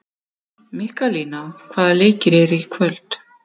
Mikkalína, hvaða leikir eru í kvöld?